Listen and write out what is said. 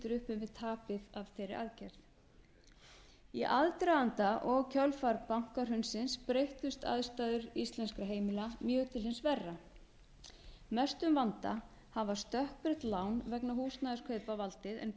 tapið af þeirri aðgerð í aðdraganda og kjölfar bankahrunsins breyttust aðstæður íslenskra heimila mjög til hins verra mestum vanda hafa stökkbreytt lán vegna húsnæðiskaupa valdið en